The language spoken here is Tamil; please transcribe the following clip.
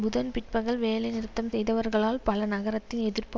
புதன் பிற்பகல் வேலைநிறுத்தம் செய்தவர்களால் பல நகரங்களில் எதிர்ப்பு